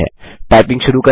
typing शुरू करें